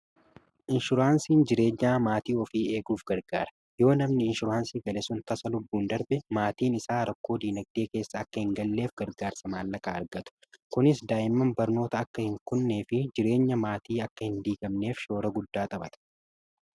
inshuraansiin jireenya maatii ofii eeguuf gargaara yoo namni inshuraansii bane sun tasa lubbuun darbe maatiin isaa rakkoo diinagdee keessa akka hin galleef gargaarsa maalaqaa argatu kunis daa'imman barnoota akka hin kunnee fi jireenya maatii akka hin diigamneef shoora guddaa xabata